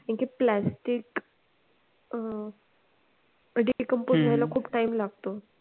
कारण कि plastic अं decompose व्हायला खूप time लागतो.